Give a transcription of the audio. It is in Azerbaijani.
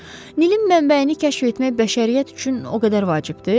Nilin mənbəyini kəşf etmək bəşəriyyət üçün o qədər vacibdir?